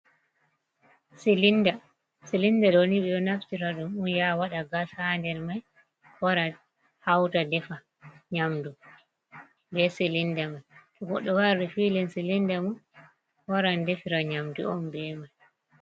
Silinda ɗoni ɓe ɗo naftira ɗum on ya waɗa gas haa nder mai wara hauta defa nyamdu be silinda mai to goɗɗo waɗi rifilin silinda mum waran defira nyamdu on be mai.